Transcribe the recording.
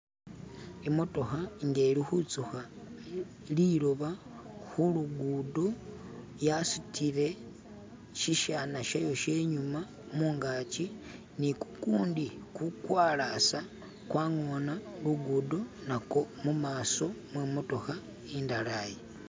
Imotoka nga ilikuzuka lidoyi kulugudo yasudile shishana shayo shenyuma munganji ni gugundi gugwalasa gwangona lugudo nagwo mumaso mwemotoka indala yo.